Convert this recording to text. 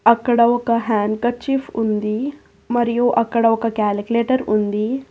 అక్కడ ఒక handkerchief ఉంది మరియు అక్కడ ఒక క్యాలిక్యులేటర్ ఉంది.